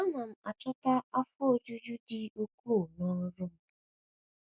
Ana m achọta afọ ojuju dị ukwuu n’ọrụ m.